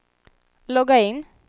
logga in